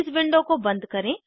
इस विंडो को बंद करें